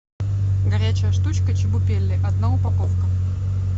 горячая штучка чебупели одна упаковка